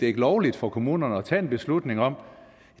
ikke lovligt for kommunerne at tage en beslutning om at